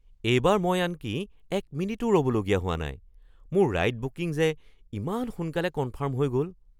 এইবাৰ মই আনকি এক মিনিটো ৰ'বলগীয়া হোৱা নাই। মোৰ ৰাইড বুকিং যে ইমান সোনকালে কনফাৰ্ম হৈ গ'ল!